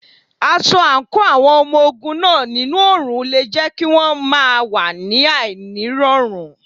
Aṣọ àǹkóò àwọn ọmọ ogun náà nínú òrùn le jẹ́ kí won máa wà ní àìní rọrùn.